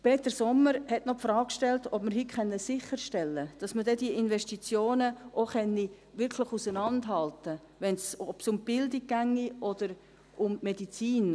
Peter Sommer hat noch die Frage gestellt, ob wir heute sicherstellen können, dass man diese Investitionen wirklich auseinanderhalten kann – ob es um die Bildung gehe oder um die Medizin;